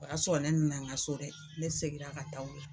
O y'a sɔrɔ ne nana n ka so dɛ ne seginna ka taa o la .